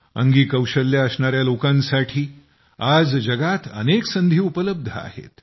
अंगी कौशल्ये असणाऱ्या लोकांसाठी आज जगात अनेक संधी उपलब्ध आहेत